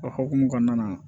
O hokumu kɔnɔna na